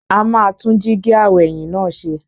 A máa tún jíígi aw'ẹ̀yìn náà ṣe.